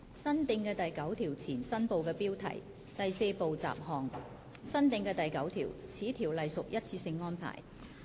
新訂的第9條前第4部雜項新部的標題新訂的第9條此條例屬一次性安排。